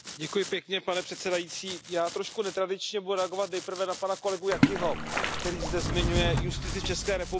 Pane předsedající, já trochu netradičně budu reagovat nejprve na pana kolegu Jakiho, který zde zmiňuje justici v České republice.